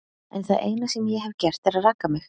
En það eina sem ég hef gert er að raka mig.